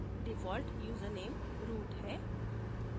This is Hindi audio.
default यूजरनैम root है